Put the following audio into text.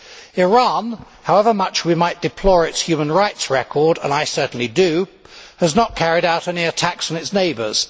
Iran, however much we might deplore its human rights record and I certainly do has not carried out any attacks on its neighbours.